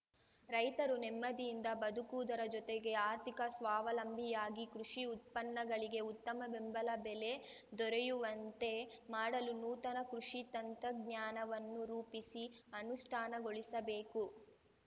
ರೈತರು ನೆಮ್ಮದಿಯಿಂದ ಬದುಕುವುದರ ಜತೆಗೆ ಆರ್ಥಿಕ ಸ್ವಾವಲಂಬಿಯಾಗಿ ಕೃಷಿ ಉತ್ಪನ್ನಗಳಿಗೆ ಉತ್ತಮ ಬೆಂಬಲ ಬೆಲೆ ದೊರೆಯುವಂತೆ ಮಾಡಲು ನೂತನ ಕೃಷಿ ತಂತ್ರಜ್ಞಾನವನ್ನು ರೂಪಿಸಿ ಅನುಷ್ಠಾನಗೊಳಿಸಬೇಕು